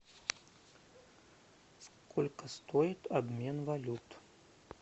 сколько стоит обмен валют